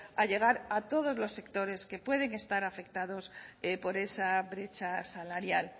a llegar a todos los sectores que pueden que estar afectados por esa brecha salarial